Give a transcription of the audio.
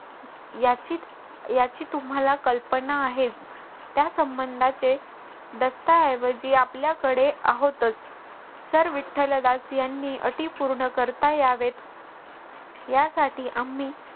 याची याची तुम्हाला कल्पना आहेच त्या संबंधाचे दस्तऐवजी आपल्याकडे आहोतच सर विठ्ठलदास यांनी अटी पूर्ण करता यावेत यासाठी आम्ही